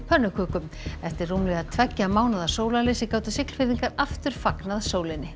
pönnukökum eftir rúmlega tveggja mánaða sólarleysi gátu Siglfirðingar aftur fagnað sólinni